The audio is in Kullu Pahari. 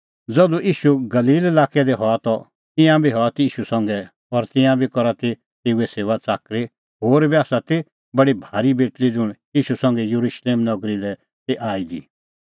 ज़धू ईशू गलील लाक्कै दी हआ त ईंयां बी हआ ती ईशू संघै और तिंयां बी करा तै तेऊए सेऊआच़ाकरी होर बी आसा ती बडी भारी बेटल़ी ज़ुंण ईशू संघै येरुशलेम नगरी लै ती आई दी